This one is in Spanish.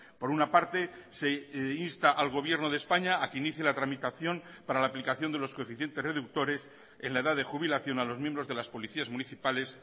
por una parte se insta al gobierno de españa a que inicie la tramitación para la aplicación de los coeficientes reductores en la edad de jubilación a los miembros de las policías municipales